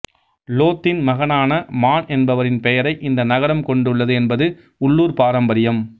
லோத்தின் மகனான மான் என்பவரின் பெயரை இந்த நகரம் கொண்டுள்ளது என்பது உள்ளூர் பாரம்பரியம்